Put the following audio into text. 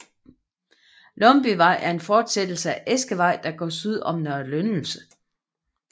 Lumbyvej er en forsættelse af Eskevej der går syd om Nørre Lyndelse